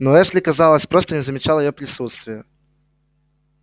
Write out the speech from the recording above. но эшли казалось просто не замечал её присутствия